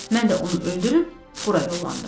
Mən də onu öldürüb bura yollandım.